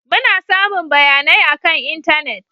Muna samun bayanai akan intanet.